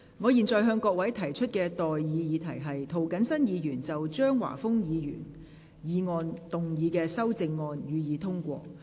我現在向各位提出的待議議題是：涂謹申議員就張華峰議員議案動議的修正案，予以通過。